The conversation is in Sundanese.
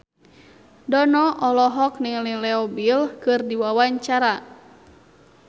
Dono olohok ningali Leo Bill keur diwawancara